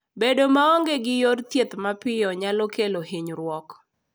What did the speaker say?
Bedo maonge gi yor thieth mapiyo nyalo kelo hinyruok.